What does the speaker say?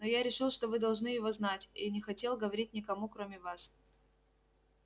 но я решил что вы должны это знать и не хотел говорить никому кроме вас